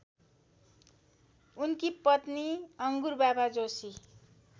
उनकी पत्नी अङ्गुरबाबा जोशी